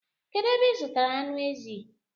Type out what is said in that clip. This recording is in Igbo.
Kedu ebe ị zụtara anụ ezi?